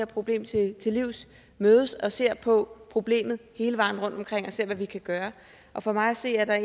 problem til til livs mødes og ser på problemet hele vejen rundt og ser hvad vi kan gøre og for mig at se er